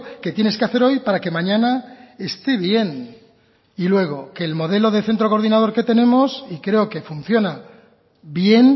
que tienes que hacer hoy para que mañana esté bien y luego que el modelo de centro coordinador que tenemos y creo que funciona bien